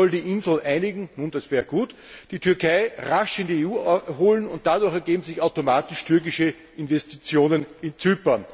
Man solle die Insel einigen ja, das wäre gut die Türkei rasch in die EU holen, und dadurch ergäben sich automatisch türkische Investitionen in Zypern.